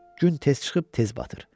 Gün tez çıxıb tez batır.